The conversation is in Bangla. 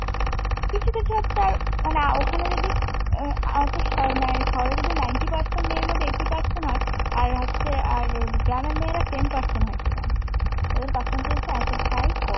না হচ্ছে আর ওখানে ঐ যে শহরে যদি ninety percent মেয়ের মধ্যে eighty percent হয় আর হচ্ছে আর গ্রামের মেয়েরা ten percent হয় সেখানে। ওদের percentage টা এতটাই কম।